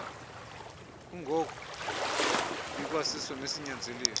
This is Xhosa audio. kungko ikwasiso nesinyanzeliso